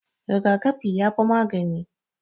Rigakafi yafi magani.